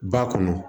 Ba kɔnɔ